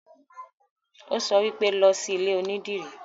Ó sọ wípé, 'Lọ sí ilé onídìrí'